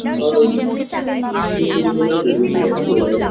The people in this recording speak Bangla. আর কিছুক্ষণ পরে আমি ready হতে যাব বেরোবো